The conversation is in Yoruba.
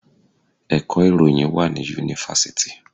Ẹ̀kọ́ ìròyìn wá ní Yunifásítì.